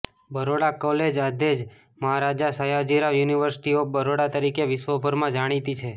Baroda college આજે the Maharaja Sayajirao university of Baroda તરીકે વિશ્વભરમાં જાણીતી છે